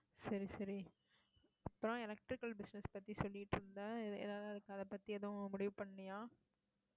சரி, சரி அப்புறம் electrical business பத்தி சொல்லிட்டு இருந்தே ஏதாவது அதைப் பத்தி எதுவும் முடிவு பண்ணியா